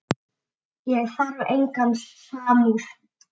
Ég þarf enga samúð.